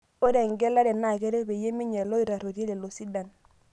Ore engelare naa keret pee meinyial ilootarruoitie lelo sidan.